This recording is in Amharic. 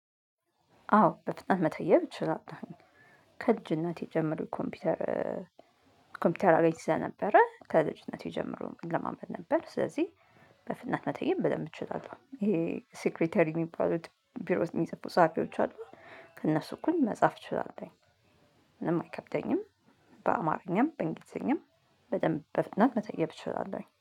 አወ በፍጥነት መተየብ እችላለሁ። ከልጅነቴ ጀምሮ ኮምፒውተር ኮምፒውተር አገኝ ስለ ነበረ። ከልጅነቴ ጀምሮ እላመድ ነበር ስለዚህ በፍናት መተየም በደንብ እችላለሁ። ይሄ ሴክሬተሪ የሚባሉት ቢሮ ውስጥ የሚፅፉት ጸሀፊዎች አሉ። ከእነሱ እኩል መጻፍ እችላለች። ምንም አይከብደኝም። በአማርኛም በእንግሊዘኛም በደንብ በፍጥነት መጠየብ እችላለሁኝ